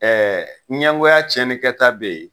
ɲɛngoya tiyɛnikɛta be ye